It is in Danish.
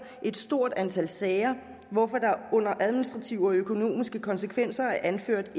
et stort antal sager hvorfor der under administrative og økonomiske konsekvenser er anført at